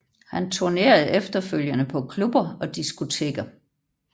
Han turnerede efterfølgende på klubber og diskoteker